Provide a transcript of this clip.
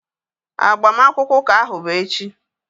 Agbamakwụkwọ ụka ahu bu echi